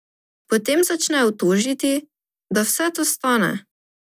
Potem začnejo tožiti, da vse to stane.